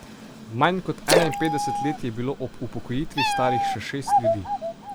Manj kot enainpetdeset let je bilo ob upokojitvi starih še šest ljudi.